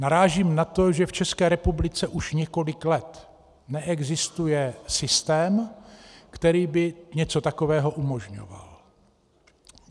Narážím na to, že v České republice už několik let neexistuje systém, který by něco takového umožňoval.